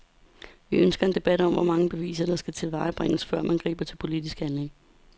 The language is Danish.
Vi ønsker en debat om, hvor mange beviser der skal tilvejebringes, før man griber til politisk handling.